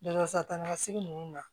Dalasala sigi ninnu na